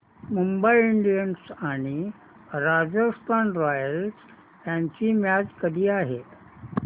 Mumbai Indians आणि Rajasthan Royals यांची match कधी आहे